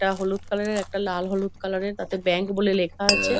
এটা হলুদ কালার -এর একটা লাল হলুদ কালার -এর তাতে ব্যাঙ্ক বলে লেখা আছে |